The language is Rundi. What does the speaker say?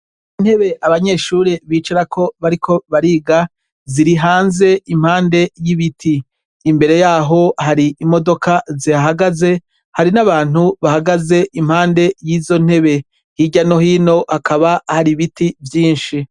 Intebe abanyeshure bicarako bariko bariga ziri hanze impande y'ibiti. Imbere yaho hari imodoka zihahagaze, hari n'abantu bahagaze impande y'izo ntebe, hirya no hino hakaba hari biti byinshi.